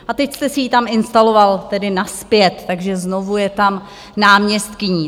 A teď jste si ji tam instaloval tedy nazpět, takže znovu je tam náměstkyní.